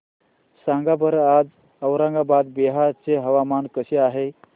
सांगा बरं आज औरंगाबाद बिहार चे हवामान कसे आहे